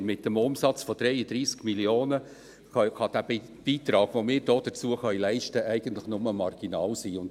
Mit einem Umsatz von 33 Mio. Franken kann der Beitrag, den wir dazu leisten können, eigentlich nur marginal sein.